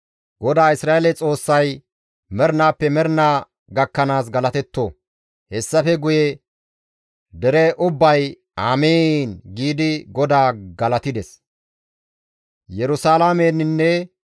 GODAA Isra7eele Xoossay mernaappe mernaa gakkanaas galatetto! Hessafe guye dere ubbay, «Amiin» giidi GODAA galatides.